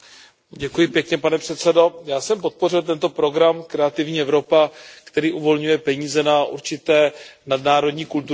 Pane předsedající, já jsem podpořil tento program Kreativní Evropa, který uvolňuje peníze na určité nadnárodní kulturní projekty.